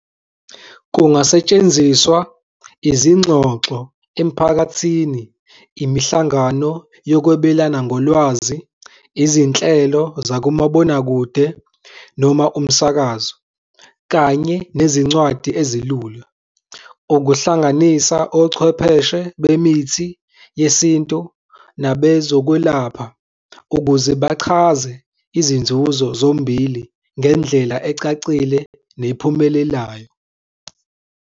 Kungasetshenziswa izingxoxo emphakathini, imihlangano yokwebelana ngolwazi, izinhlelo zakumabonakude noma umsakazo, kanye nezincwadi ezilula, ukuhlanganisa ochwepheshe bemithi yesintu nabezokwelapha ukuze bachaze izinzuzo zombili ngendlela ecacile nephumelelayo.